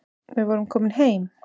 Við vorum komin heim.